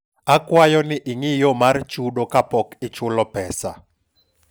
akwayo ni ing'i yo mar chudo ka pok ichulo pesa